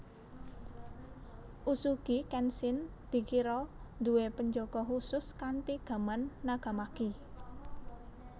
Uesugi Kenshin dikira nduwe penjaga khusus kanthi gaman nagamaki